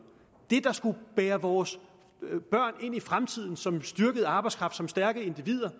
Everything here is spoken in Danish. der skulle bære vores børn ind i fremtiden som styrket arbejdskraft som stærke individer